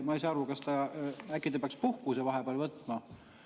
Ma ei saa aru, kas ta äkki peaks puhkuse vahepeal võtma.